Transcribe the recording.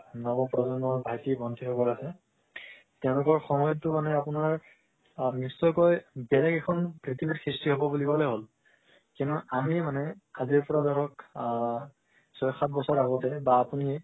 নৱ প্ৰজন্মৰ ভাইতি ভন্তি সকল আছে তেওলোকৰ সময়ত তো মানে অপোনাৰ নিশ্চয় কই বেলেগ এখন পৃথিবীৰ সৃষ্টি হৱ কলেই হল কিয়নো আমি মানে আজিৰ পৰা ধৰক আ ছয় সাত বছৰ আগতে